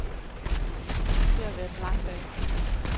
Det har været en lang dag.